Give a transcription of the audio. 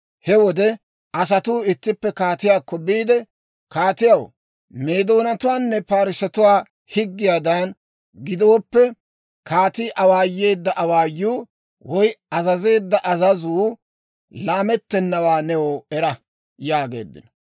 He wode asatuu ittippe kaatiyaakko biide, «Kaatiyaw, Meedoonatuwaanne Parssetuwaa higgiyaadan gidooppe, kaatii awaayeedda awaayuu woy azazeedda azazuu laamettennawaa new era» yaageeddino.